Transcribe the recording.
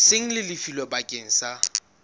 seng le lefilwe bakeng sa